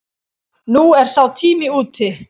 Nú er sá tími úti.